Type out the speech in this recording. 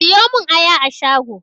Siyo mun aya a shago!